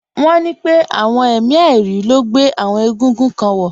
Wọ́n ní pé àwọn èmi àìrí ló gbé àwọn egúngún kan wọ̀